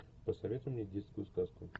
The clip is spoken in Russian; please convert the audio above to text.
посоветуй мне детскую сказку